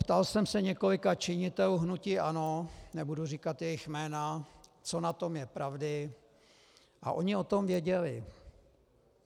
Ptal jsem se několika činitelů hnutí ANO, nebudu říkat jejich jména, co na tom je pravdy, a oni o tom věděli.